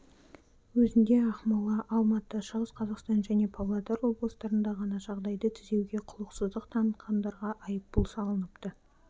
өзінде ақмола алматы шығыс қазақстан және павлодар облыстарында ғана жағдайды түзеуге құлықсыздық танытқандарға айыппұл салыныпты